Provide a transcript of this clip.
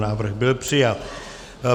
Návrh byl přijat.